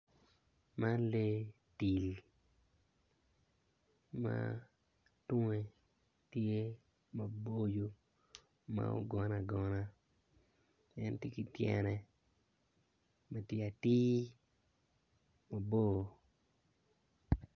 Man lee tim ma tunge ma tunge tye maboco ma ogone agona en tye ki tyene tye atir mabor.